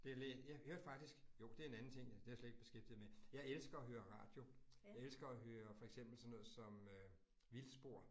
Det. Jeg hørte faktisk, jo det en anden ting, det har slet ikke beskæftiget med. Jeg elsker at høre radio. Jeg elsker at høre for eksempel sådan noget som øh Vildspor